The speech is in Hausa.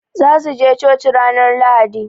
Za su je coci ranar lahadi.